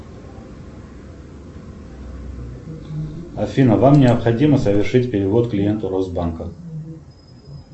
афина вам необходимо совершить перевод клиенту росбанка